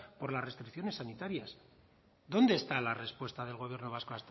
por las restricciones sanitarias dónde está la respuesta del gobierno vasco